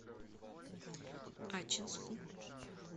ачинску